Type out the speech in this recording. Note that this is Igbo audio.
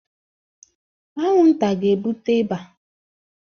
Anwụnta ga-ebute ịba